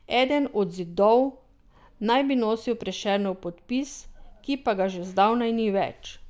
Eden od zidov naj bi nosil Prešernov podpis, ki pa ga že zdavnaj ni več.